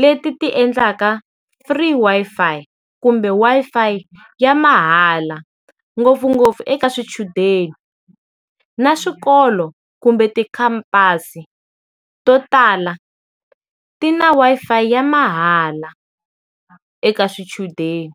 leti ti endlaka free Wi-Fi kumbe Wi-Fi ya mahala ngopfungopfu eka swichudeni, na swikolo kumbe tikhampasi, to tala ti na Wi-Fi ya mahala eka swichudeni.